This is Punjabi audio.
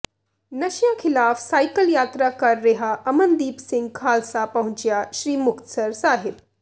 ਨਸ਼ਿਆਂ ਿਖ਼ਲਾਫ਼ ਸਾਈਕਲ ਯਾਤਰਾ ਕਰ ਰਿਹਾ ਅਮਨਦੀਪ ਸਿੰਘ ਖ਼ਾਲਸਾ ਪਹੁੰਚਿਆ ਸ੍ਰੀ ਮੁਕਤਸਰ ਸਾਹਿਬ